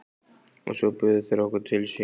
Og svo buðu þeir okkur til sín.